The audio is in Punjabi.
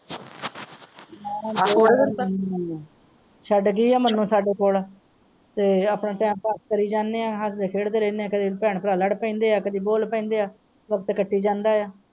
ਛੱਡ ਜਾਇ ਮਾਨੁ ਸਾਡੇ ਕੋਲ ਆਪਣਾ ਟਾਇਮ ਪਾਸ ਕਰੀ ਜਾਣੇ ਹਾਂ ਹੱਸਦੇ ਰਹਿੰਦੇ ਹੈ ਕਦੀ ਭੈਣ ਭਰਾ ਲੜ ਪੈਂਦੇ ਹੈ ਕਦੀ ਬੋਲ ਪੈਂਦੇ ਹੈ ਵਖਤ ਕਟੀ ਜਾਂਦਾ ਹੈ।